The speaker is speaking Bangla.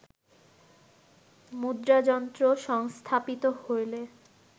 মুদ্রাযন্ত্র সংস্থাপিত হইলে